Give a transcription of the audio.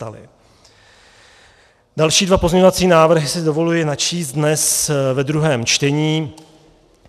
Další dva pozměňovací návrhy si dovoluji načíst dnes ve druhém čtení.